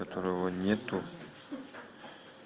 которого нету